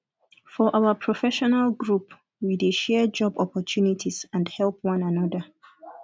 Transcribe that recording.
for our professional group we dey share job opportunities and help one another